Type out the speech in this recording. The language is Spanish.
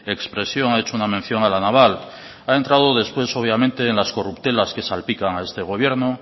expresión ha hecho una mención a la naval ha entrado después obviamente en las corruptelas que salpican a este gobierno